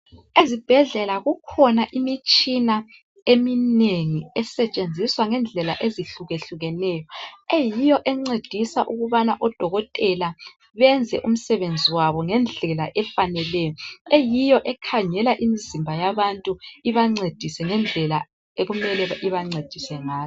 Ezibhedlela kukhona imitshina eminengi esetshenziswa ngendlela ezihluke hlukeneyo eyiyo encedisa ukubana odokotela benze umsebenzi wabo ngendlela efaneleyo eyiyo ekhangela imizimba yabantu ibancedise ngendlela okumele ibancedise ngayo.